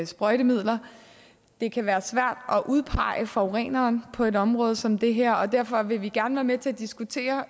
sprøjtemidler det kan være svært at udpege forureneren på et område som det her og derfor vil vi gerne være med til at diskutere